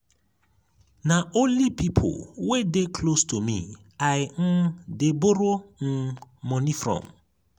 na only pipo wey dey close to me i um dey borrow um moni from.